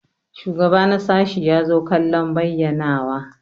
Shugaba na sashi ya zo kallon bayyanawa.